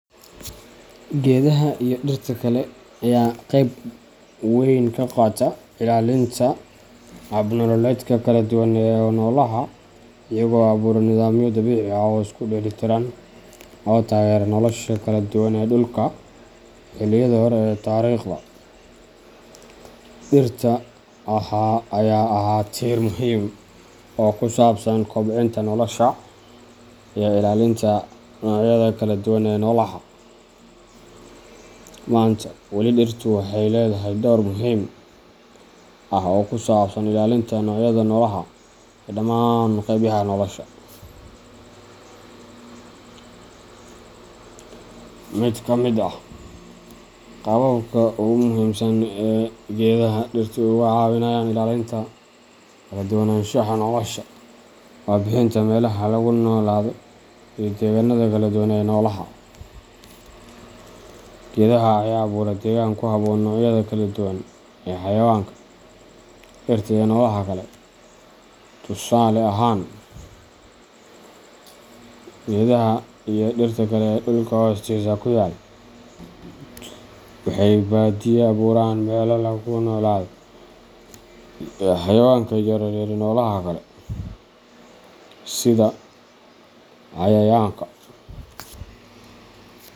Geedaha iyo dhirta kale ayaa qayb weyn ka qaata ilaalinta hab nololeedyo kala duwan oo noolaha, iyagoo abuura nidaamyo dabiici ah oo isku dheelitiran oo taageera nolosha kala duwan ee dhulka. Xilliyada hore ee taariikhda, dhirta ayaa ahaa tiir muhiim ah oo ku saabsan kobcinta nolosha iyo ilaalinta noocyada kala duwan ee noolaha. Maanta, weli dhirtu waxay leedahay door muhiim ah oo ku saabsan ilaalinta noocyada noolaha ee dhammaan qaybaha nolosha. Mid ka mid ah qaababka ugu muhiimsan ee geedaha dhirtu uga caawinayaan ilaalinta kaladuwananshaha nolosha waa bixinta meelaha lagu noolaado iyo deegaanada kala duwan ee noolaha. Geedaha ayaa abuura deegaan ku habboon noocyada kala duwan ee xayawaanka, dhirta, iyo noolaha kale. Tusaale ahaan, geedaha iyo dhirta kale ee dhulka hoostiisa ku yaal waxay badiyaa abuuraan meelaha lagu noolaado ee xayawaanka yaryar iyo noolaha kale, sida cayayaanka.